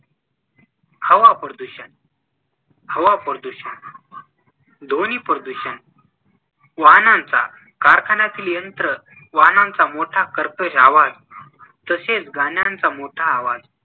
हवाप्रदूषण हवा प्रदूषण ध्वनिप्रदूषण वाहनांचा, कारखान्यातील यंत्र, वाहनांचा मोठा कर्कश आवाज तसेच गाण्यांचा मोठा आवाज